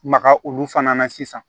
Maga olu fana na sisan